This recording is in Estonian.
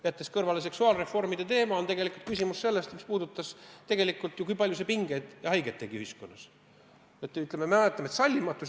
Jättes kõrvale seksuaalreformide teema, oli tegelikult küsimus ju selles, mis puudutas seda, kui palju see tekitas ühiskonnas pingeid ja tegi haiget.